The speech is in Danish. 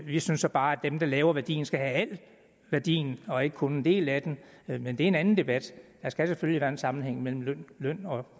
vi synes så bare at dem der laver værdien skal have al værdien og ikke kun en del af den men men det er en anden debat der skal selvfølgelig være en sammenhæng mellem løn og